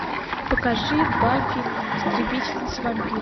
покажи баффи истребительница вампиров